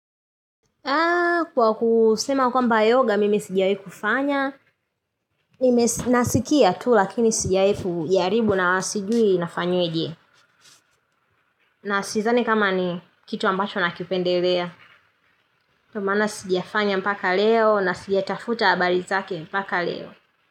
Kwa kusema kwamba yoga mimi sijawahi kufanya, nasikia tu lakini sijawai jaribu na sijui inafanyweje. Na sidhani kama ni kitu ambacho nakipendelea. Kwa maana sijafanya mpaka leo na sijatafuta habari zake mpaka leo.